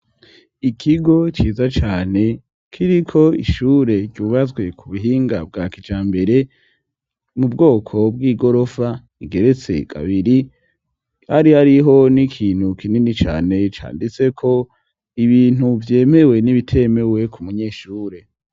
Ikigo ciza cane kiriko ishure cubatswe ku buhinga bwa kijambere mu bwoko bw'igorofa igeretse kabiri, hari hariho n'ikintu kinini cane canditseko ibintu vyemewe n'ibitemewe ku munyeshure.